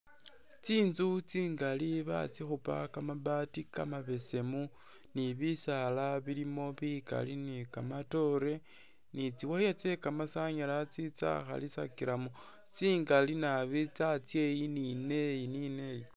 Tsinzu tsingaali batsikhupa kamabaati kamabeseemu ni bisaala bilimo bikaali ni kamatoore ni tsi wire tse kamasanyalaze tsakhalisilakilamo tsingaali naabi tsatsa iyi ni neyi ni neyi.